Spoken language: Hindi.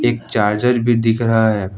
एक चार्जर भी दिख रहा है।